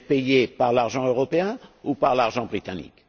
Vous êtes payé par l'argent européen ou par l'argent britannique?